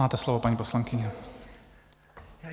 Máte slovo, paní poslankyně.